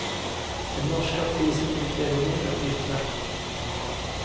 Den norska polisen utreder nu uppgifterna.